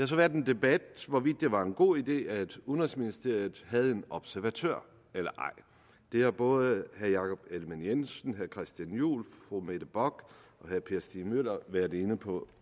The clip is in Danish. så været en debat hvorvidt det var en god idé at udenrigsministeriet havde en observatør det har både herre jakob ellemann jensen herre christian juhl fru mette bock og herre per stig møller været inde på